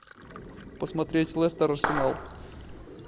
посмотреть лестер арсенал